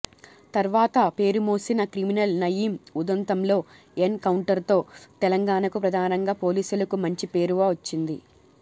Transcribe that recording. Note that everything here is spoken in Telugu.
తర్వాత పేరుమోసిన క్రిమినల్ నయీం ఉదంతంలో ఎన్ కౌంటర్తో తెలంగాణకు ప్రధానంగా పోలీసులకు మంచి పేరువ చ్చింది